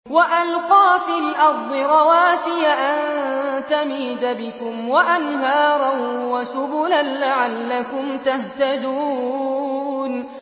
وَأَلْقَىٰ فِي الْأَرْضِ رَوَاسِيَ أَن تَمِيدَ بِكُمْ وَأَنْهَارًا وَسُبُلًا لَّعَلَّكُمْ تَهْتَدُونَ